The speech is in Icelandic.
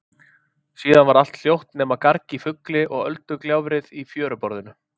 Síðan varð allt hljótt nema garg í fugli og öldugjálfrið í fjöruborðinu.